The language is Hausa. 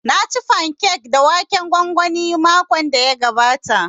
Na ci fankek da waken gwangwani makon da ya gabata